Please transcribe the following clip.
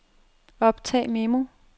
optag memo